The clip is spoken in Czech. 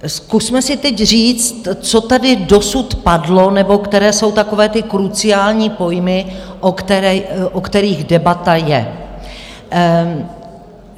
Zkusme si teď říct, co tady dosud padlo nebo které jsou takové ty kruciální pojmy, o kterých debata je.